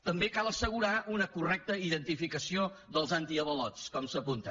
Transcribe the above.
també cal assegurar una correcta identificació dels antiavalots com s’apunta